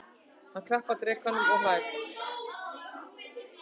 Hann klappar drekanum og hlær.